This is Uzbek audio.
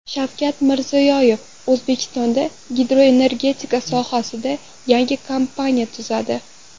Shavkat Mirziyoyev: O‘zbekistonda gidroenergetika sohasida yangi kompaniya tuziladi.